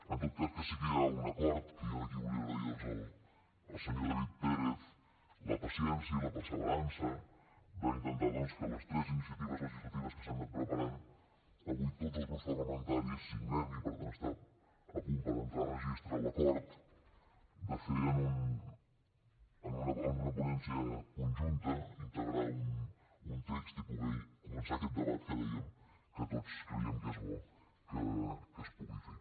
en tot cas que sí que hi ha un acord que jo en aquí volia agrair doncs al senyor david pérez la paciència i la perseverança d’intentar doncs que les tres iniciatives legislatives que s’han anat preparant avui tots els grups parlamentaris signem i per tant està a punt per entrar a registre l’acord de fer en una ponència conjunta integrar un text i poder començar aquest debat que dèiem que tots creiem que és bo que es pugui fer